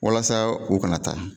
Walasa u kana taa